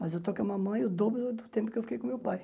Mas eu estou com a mamãe o dobro do tempo que eu fiquei com meu pai.